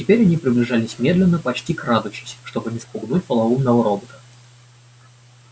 теперь они приближались медленно почти крадучись чтобы не спугнуть полоумного робота